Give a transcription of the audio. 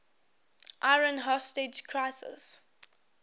iran hostage crisis